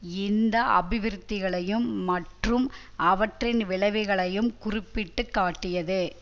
இந்த அபிவிருத்திகளையும் மற்றும் அவற்றின் விளைவுகளையும் குறிப்பிட்டு காட்டியது